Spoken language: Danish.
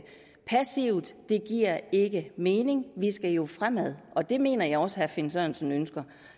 passivt det giver ikke mening vi skal jo fremad og det mener jeg også at herre finn sørensen ønsker